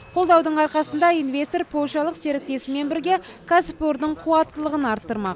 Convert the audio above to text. қолдаудың арқасында инвестор польшалық серіктесімен бірге кәсіпорынның қуаттылығын арттырмақ